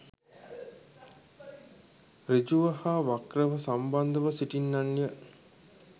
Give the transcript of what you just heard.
සෘජුව හා වක්‍රව සම්බන්ධව සිටින්නන් ය.